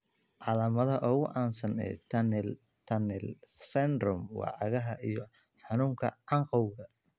Calaamadaha ugu caansan ee tunnel tunnel syndrome waa cagaha iyo xanuunka canqowga.